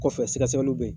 Kɔfɛ sɛgɛsɛgɛliw bɛ yen